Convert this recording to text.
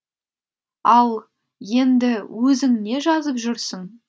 ал енді өзің не жазып жүрсің